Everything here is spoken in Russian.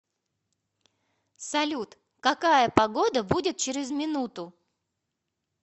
салют какая погода будет через минуту